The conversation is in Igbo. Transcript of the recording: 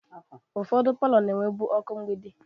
Ụfọdụ palọ na-enwebu ọkụ mgbidi.